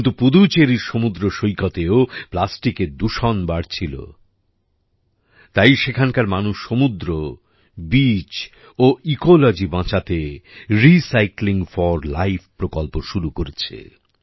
কিন্তু পুদুচেরির সমুদ্র সৈকতেও প্লাস্টিকের দূষণ বাড়ছিল তাই সেখানকার মানুষ সমুদ্র বিচ ও ইকোলজি বাঁচাতে রিসাইক্লিং ফোর লাইফ প্রকল্প শুরু করেছে